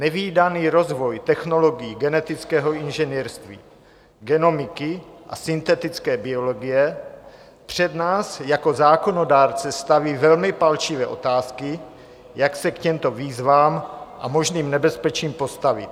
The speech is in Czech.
Nevídaný rozvoj technologií genetického inženýrství, genomiky a syntetické biologie před nás jako zákonodárce staví velmi palčivé otázky, jak se k těmto výzvám a možným nebezpečím postavit.